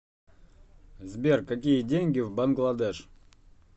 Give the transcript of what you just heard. сбер какие деньги в бангладеш